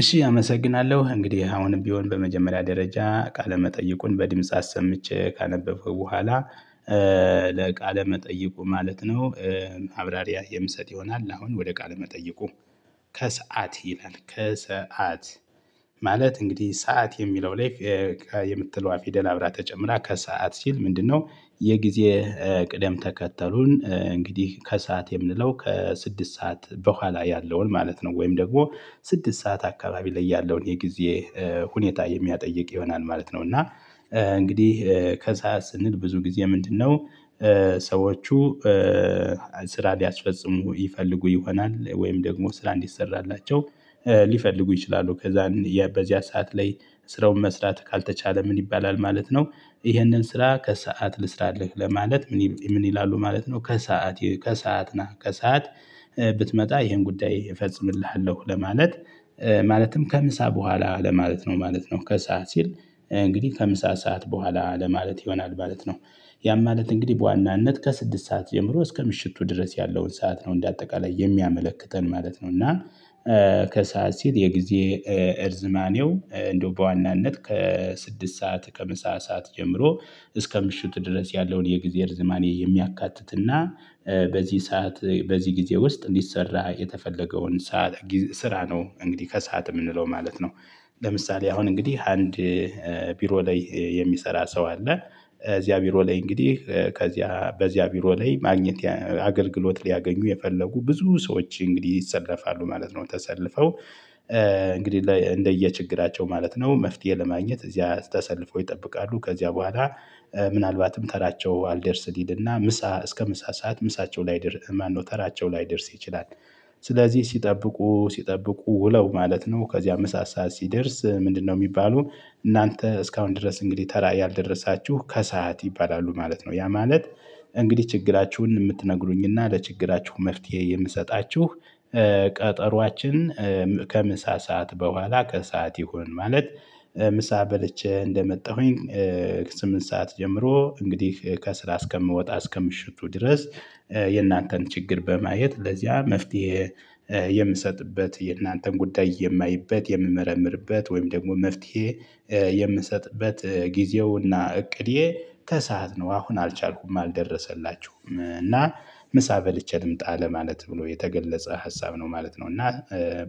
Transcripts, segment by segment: እሺ አመሰግናለሁ እንግዲህ አሁንም ቢሆን በመጀመሪያ ደረጃ ቃለ መጠይቁን በድምጽ አሰምቼ ካነበብኩ በኋላ ለቃለ መጠይቁ ማለት ነው። ማብራሪያ የምሰጥ ይሆናል አሁን ወደ ቃለ መጠይቁ። ከሰአት ይላል ከሰአት ማለት እንግዲህ ሰዓት የሚለው ላይ ከ የምትለዋ ፊደል አብራ ተጨምራ ከሰአት ሲል ምንድነው? የጊዜ ቅደም ተከተሉን እንግዲህ ከሰአት የምንለው ከስድስት ሰዓት በኋላ ያለውን ማለት ነው ወይም ደግሞ ስድስት ሰዓት አካባቢ ላይ ያለውን የጊዜ ሁኔታ የሚያጠይቅ ይሆናል ማለት ነው። እና እንግዲህ ከሰአት ስንል ብዙ ጊዜ ምንድነው? ሰዎቹ ስራ ሊያስፈጽሙ ይፈልጉ ይሆናል ወይም ደግሞ ስራ እንዲሰራላቸው ሊፈልጉ ይችላሉ ከዛ በዚያ ሰዓት ላይ ስራውን መስራት ካልተቻለ ምን ይባላል ማለት ነው። ይሄንን ስራ ከሰአት ልስራልህ ለማለት ምን ምን ይላሉ ማለት ነው። ከሰአት ከሰአት ናህ ከሰአት። ብትመጣ ይሄን ጉዳይ እፈጽምልሃለሁ ለማለት ማለትም ከምሳ በኋላ ለማለት ነው ማለት ነው። ከሰአት ሲል እንግዲህ ከምሳ ሰዓት በኋላ ለማለት ይሆናል ማለት ነው። ያም ማለት እንግዲህ በዋናነት ከስድስት ሰዓት የምሮ እስከ ምሽቱ ድረስ ያለውን ሰዓት ነው እንደ አጠቃላይ የሚያመለክተን ማለት ነው። እና ከሰአት ሲል የጊዜ እርዝማኔው እንደው በዋናነት ከስድስት ሰዓት ከምሳ ሰዓት ጀምሮ እስከ ምሽት ድረስ ያለውን የጊዜ ርዘማኔ የሚያካትትና በዚህ ሰዓት በዚህ ጊዜ ውስጥ እንዲሰራ የተፈለገውን ሰዓት ስራ ነው። እንግዲህ ከሰአት የምንለው ማለት ነው። ለምሳሌ አሁን እንግዲህ አንድ ቢሮ ላይ የሚሰራ ሰው አለ እዚያ ቢሮ ላይ እንግዲህ ከዚያ በዚያ ቢሮ ላይ ማግኘት አገልግሎት ሊያገኙ የፈለጉ ብዙ ሰዎች እንግዲህ ይሰለፋሉ ማለት ነው። ተሰልፈው እንግዲህ ላይ እንደየችግራቸው ማለት ነው መፍትሄ ለማግኘት እዚያ ተሰልፈው ይጠብቃሉ ከዚያ በኋላ ምናልባትም ተራቸው አልደርስ ሊልና ምሳ እስከ ምሳ ሰዓት ምሳቸው ላይ ማነው ተራቸው ላይደርስ ይችላል። ስለዚህ ሲጠብቁ ሲጠብቁ ውለው ማለት ነው ከዚያ ምሳ ሰዓት ሲደርስ ምንድነው ሚባሉ? እናንተ እስካሁን ድረስ እንግዲህ ተራ ያልደረሳችሁ ከሰአት ይባላሉ ማለት ነው። ያ ማለት እንግዲህ ችግራችሁን የምትነግሩኝና ለችግራችሁ መፍትሄ የምሰጣችሁ ቀጠሮአችን ከምሳ ሰዓት በኋላ ከሰአት ይሁን ማለት። ምሳ በልቼ እንደመጣሁኝ ስምንት ሰዓት ጀምሮ እንግዲህ ከስር እስከምወጣ እስከምሽቱ ድረስ የእናንተን ችግር በማየት ለዚያ መፍትሄ የምሰጥበት የእናንተን ጉዳይ የማይበት የምመረምርበት ወይም ደግሞ መፍትሄ የምሰጥበት ጊዜውና እቅዴ ተሳዓት ነው። አሁን አልቻልኩም አልደረሰላችሁም እና ምሳ በልቼ ልምጣ ለማለት ብሎ የተገለጸ ሀሳብ ነው ማለት ነው። እና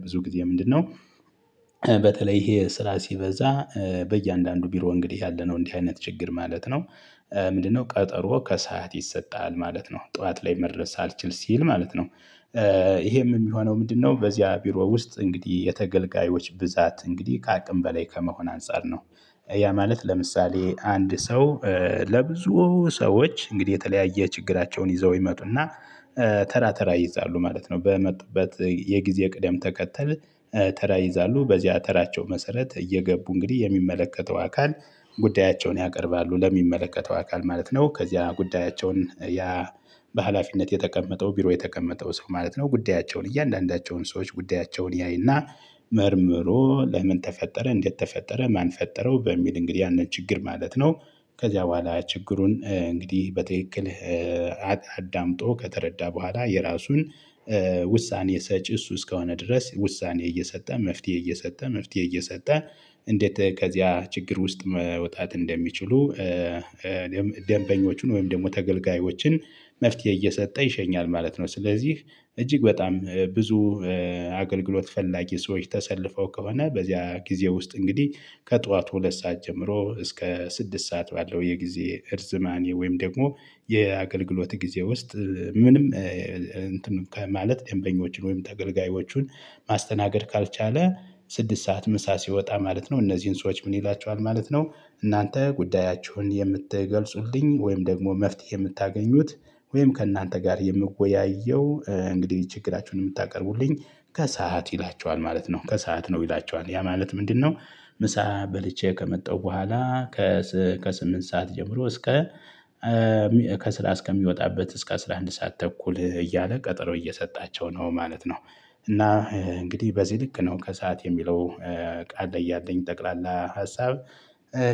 ብዙ ጊዜ ምንድነው? በተለይ ይሄ ስራ ሲበዛ በእያንዳንዱ ቢሮ እንግዲህ ያለነው እንዲህ አይነት ችግር ማለት ነው። ምንድነው ቀጠሮ ከሰአት ይሰጣል ማለት ነው ጠዋት ላይ መድረስ አልችል ሲል ማለት ነው። ይሄም የሚሆነው ምንድነው? በዚህ ቢሮ ውስጥ እንግዲህ የተገልጋዮች ብዛት እንግዲህ ከአቅም በላይ ከመሆን አንፃር ነው። ያ ማለት ለምሳሌ አንድ ሰው ለብዙ ሰዎች እንግዲህ የተለያየ ችግራቸውን ይዘው ይመጡና ተራ ተራ ይይዛሉ ማለት ነው። በመጡበት የጊዜ ቅደም ተከተል ተራ ይዛሉ በዚህ ተራቸው መሰረት እየገቡ እንግዲህ የሚመለከተው አካል ጉዳያቸውን ያቀርባሉ ለሚመለከተው አካል ማለት ነው። ከዚያ ጉዳያቸውን ያ በሃላፊነት የተቀመጠው ቢሮ የተቀመጠው ሰው ማለት ነው ጉዳያቸውን እያንዳንዳቸውን ሰዎች ጉዳያቸውን ያይና መርምሮ ለምን ተፈጠረ እንዴት ተፈጠረ ማን ፈጠረው በሚል እንግዲህ ያንን ችግር ማለት ነው። ከዚያ በኋላ ችግሩን እንግዲህ በትክክል አዳምጦ ከተረዳ በኋላ የራሱን ውሳኔ ሰጪ እሱ እስከሆነ ድረስ ውሳኔ እየሰጠ መፍትሄ እየሰጠ መፍትሄ እየሰጠ። እንዴት ከዚያ ችግር ውስጥ መውጣት እንደሚችሉ ደንበኞችን ወይም ደግሞ ተገልጋዮችን መፍትሄ እየሰጠ ይሸኛል ማለት ነው። ስለዚህ እጅግ በጣም ብዙ አገልግሎት ፈላጊ ሰዎች ተሰልፈው ከሆነ በዚያ ጊዜ ውስጥ እንግዲህ ከጠዋት ሁለት ሰዓት ጀምሮ እስከ ስድስት ሰዓት ባለው የጊዜ እርዝማኔ ወይም ደግሞ የአገልግሎት ጊዜ ውስጥ ምንም እንትን ማለት ደንበኞችን ወይም ተገልጋዮቹን ማስተናገድ ካልቻለ ስድስት ሰዓት ምሳ ሲወጣ ማለት ነው። እነዚህን ሰዎች ምን ይላቸዋል ማለት ነው። እናንተ ጉዳያችሁን የምትገልጹልኝ ወይም ደግሞ መፍትሄ የምታገኙት ወይም ከእናንተ ጋር የምወያየው እንግዲህ ችግራችሁን የምታቀርቡልኝ ከሰአት ይላቸዋል ማለት ነው። ከሰአት ነው ይላቸዋል ያ ማለት ምንድነው? ምሳ በልቼ ከመጣሁ በኋላ ከስምንት ሰዓት ጀምሮ እስከ ከስራ እስከሚወጣበት እስከ አስራ አንድ ሰዓት ተኩል እያለ ቀጠሮ እየሰጣቸው ነው ማለት ነው። እና እንግዲህ በዚህ ልክ ነው ከሰአት የሚለው ቃል ላይ ያለኝ ጠቅላላ ሀሳብ።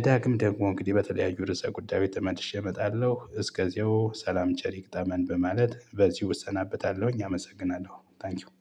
ዳግም ደግሞ እንግዲህ በተለያዩ ርዕሰ ጉዳዮች ተመልሼ እመጣለሁ እስከዚያው ሰላም ቸር ይግጠመን በማለት በዚህ እሰናበታለሁኝ አመሰግናለሁ። ታንኪው